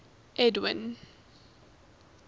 edwind